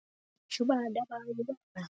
Henni finnst stundum hún ekki eiga það skilið.